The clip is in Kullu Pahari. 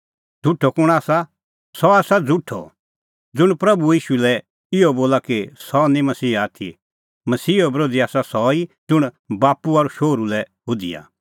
झ़ुठअ कुंण आसा सह आसा झ़ुठअ ज़ुंण प्रभू ईशू लै इहअ बोला कि सह निं मसीहा आथी मसीहो बरोधी आसा सह ई ज़ुंण बाप्पू और शोहरू लै हुधिआ